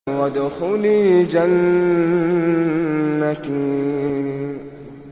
وَادْخُلِي جَنَّتِي